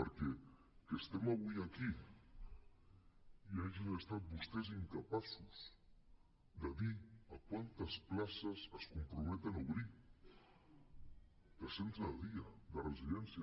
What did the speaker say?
perquè que estiguem avui aquí i hagin estat vostès incapaços de dir quantes places es comprometen a obrir de centre de dia de residència